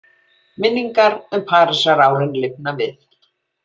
Minningar um Parísarárin lifna við.